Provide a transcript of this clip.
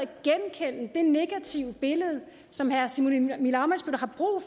jeg negative billede som herre simon emil ammitzbøll har brug